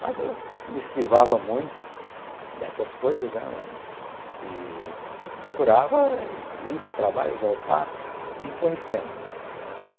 Mas eu me esquivava muito dessas coisas, né, e procurava ir para o trabalho, voltar e ir conhecendo.